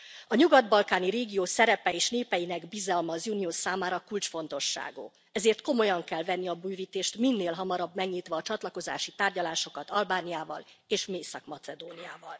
A nyugat balkáni régió szerepe és népeinek bizalma az Unió számára kulcsfontosságú, ezért komolyan kell venni a bővítést, minél hamarabb megnyitva a csatlakozási tárgyalásokat Albániával és Észak Macedóniával.